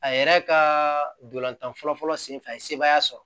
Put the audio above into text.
A yɛrɛ ka dolantan fɔlɔ fɔlɔ sen fɛ a ye sebaaya sɔrɔ